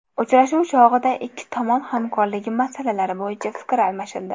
Uchrashuv chog‘ida ikki tomon hamkorligi masalalari bo‘yicha fikr almashildi.